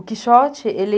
O Quixote, ele...